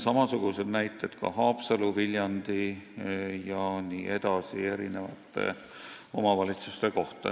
Samasuguseid näiteid on ka Haapsalu, Viljandi ja teiste omavalitsuste kohta.